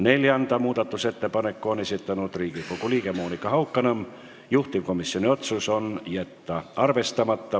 Neljanda muudatusettepaneku on esitanud Riigikogu liige Monika Haukanõmm, juhtivkomisjoni otsus: jätta arvestamata.